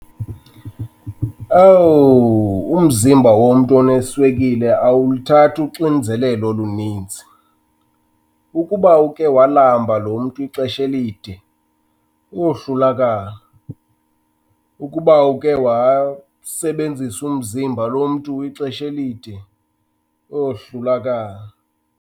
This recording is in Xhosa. Owu, umzimba womntu oneswekile awuluthathi uxinzelelo oluninzi. Ukuba ukhe walamba lo mntu ixesha elide, uyohlulakala. Ukuba ukhe wasebenzisa umzimba lo mntu ixesha elide, uyohlulakala.